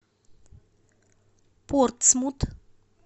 портсмут